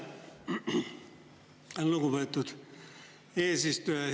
Aitäh, lugupeetud eesistuja!